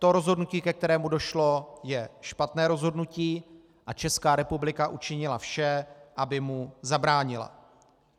To rozhodnutí, ke kterému došlo, je špatné rozhodnutí, a Česká republika učinila vše, aby mu zabránila.